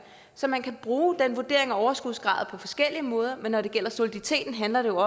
så man kan bruge den vurdering af overskudsgrad på forskellige måder men når det gælder soliditeten handler det